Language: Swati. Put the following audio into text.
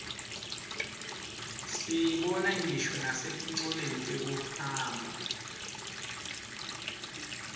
siyibona ngisho nasetincoleni tekuhamba